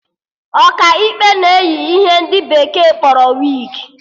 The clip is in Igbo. Ọkaikpe na-eyi ihe ndị bekee kpọrọ wigi